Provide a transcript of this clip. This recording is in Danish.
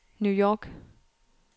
New York